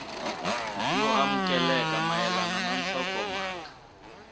yo amukeleka mayelana na nhlokomhaka